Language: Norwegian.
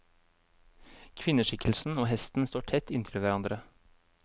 Kvinneskikkelsen og hesten står tett inntil hverandre.